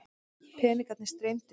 Peningarnir streymdu inn.